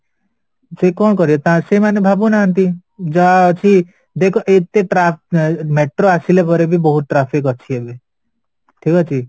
ସେ କ'ଣ କରିବ ତା ସେମାନେ ଭାବୁ ନାହାନ୍ତି ଜାହା ଅଛି ଦେଖ ଏତେ metro ଆସିଲା ପରେବି ବହୁତ traffic ଅଛି ଏବେ ଠିକଅଛି